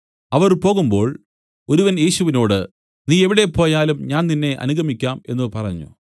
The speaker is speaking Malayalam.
അവർ പോകുമ്പോൾ ഒരുവൻ യേശുവിനോട് നീ എവിടെ പോയാലും ഞാൻ നിന്നെ അനുഗമിക്കാം എന്നു പറഞ്ഞു